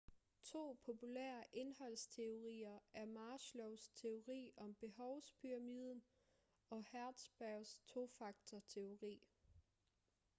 to populære indholdsteorier er maslows teori om behovspyramiden og hertzbergs tofaktor-teori